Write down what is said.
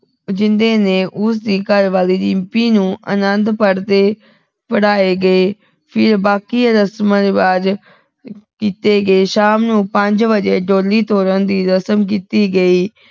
ਜਿੰਦੇ ਨੇ ਉਸਦੀ ਘਰਵਾਲੀ ਰਿੰਪੀ ਨੂੰ ਅਨੰਦ ਪੜ੍ਹਦੇ ਪੜ੍ਹਾਏ ਗਏ ਫਿਰ ਬਾਕੀ ਰਸਮਾਂ ਰਿਵਾਜ਼ ਕੀਤੇ ਗਏ ਸ਼ਾਮ ਨੂੰ ਪੰਜ ਵਜੇ ਡੋਲੀ ਤੋਰਨ ਦੀ ਰਸਮ ਕੀਤੀ ਗਈ